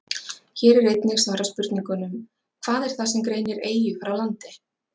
Hér er einnig svarað spurningunum: Hvað er það sem greinir eyju frá landi?